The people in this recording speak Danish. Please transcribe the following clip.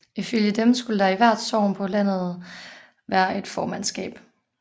Ifølge dem skulle der i hvert sogn på landet være et formandskab